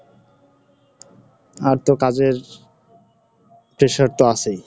আর তো কাজের, pressure তো আছেই।